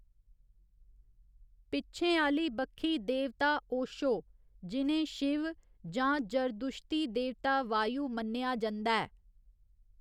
पिच्छें आह्‌ली बक्खी देवता ओशो, जि'नें शिव जां जरदुश्ती देवता वायु मन्नेआ जंदा ऐ।